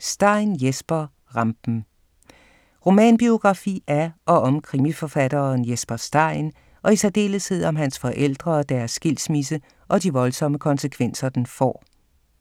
Stein, Jesper: Rampen Romanbiografi af og om krimiforfatteren Jesper Stein, og i særdeleshed om hans forældre og deres skilsmisse og de voldsomme konsekvenser, den får.